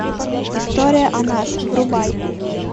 история о нас врубай